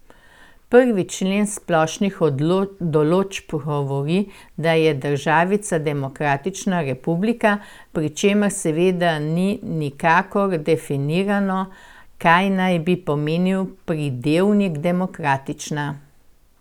Prvi člen splošnih določb govori, da je državica demokratična republika, pri čemer seveda ni nikakor definirano, kaj naj bi pomenil pridevnik demokratična.